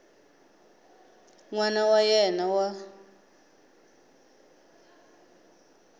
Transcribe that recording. n wana wa yena wa